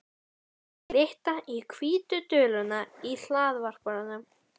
Hún sá glitta á hvítu duluna í hlaðvarpanum.